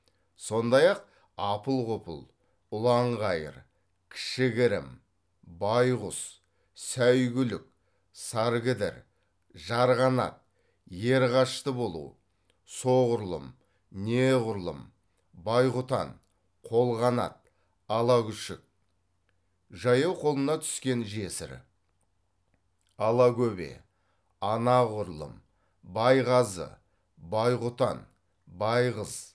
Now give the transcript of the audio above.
сондай ақ апыл ғұпыл ұлан ғайыр кішігірім байғұс сәйгүлік саргідір жарғанат ерғашты болу соғұрлым неғұрлым байғұтан қолғанат алагүшік жаяу қолына түскен жесір алагөбе анағұрлым байғазы байғұтан байғыз